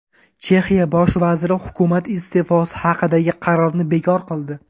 Chexiya bosh vaziri hukumat iste’fosi haqidagi qarorni bekor qildi.